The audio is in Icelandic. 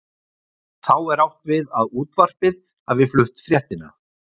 Þá er átt við að útvarpið hafi flutt fréttina.